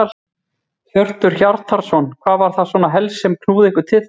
Hjörtur Hjartarson: Hvað var það svona helst sem að knúði ykkur til þess?